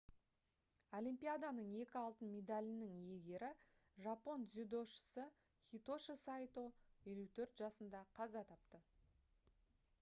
олимпияданың екі алтын медалінің иегері жапон дзюдошысы хитоши сайто 54 жасында қаза тапты